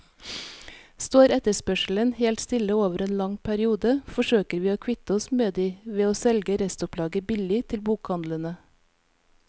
Står etterspørselen helt stille over en lang periode, forsøker vi å kvitte oss med ved å selge restopplaget billig til bokhandlene.